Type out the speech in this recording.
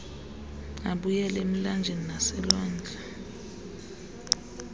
abuyele emilanjeni naselwandle